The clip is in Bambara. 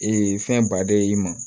fɛn baden i ma